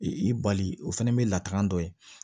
i bali o fɛnɛ bɛ lataniga dɔ ye